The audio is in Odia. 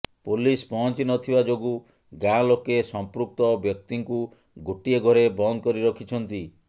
ପୋଲିସ ପହଞ୍ଚି ନ ଥିବା ଯୋଗୁ ଗାଁ ଲୋକେ ସମ୍ପୃକ୍ତ ବ୍ୟକ୍ତିଙ୍କୁ ଗୋଟିଏ ଘରେ ବନ୍ଦ କରି ରଖିଛନ୍ତି